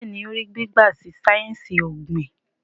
Béèni o rí gbígba sí sáyẹnsì ogbin.